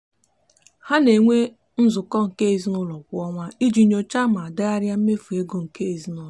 ha na-enwe nzukọ nke ezinụụlọ kwa ọnwa iji nyochaa ma degharịa mmefu ego nke ezinụụlọ.